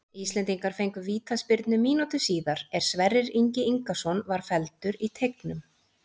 Íslendingar fengu vítaspyrnu mínútu síðar er Sverrir Ingi Ingason var felldur í teignum.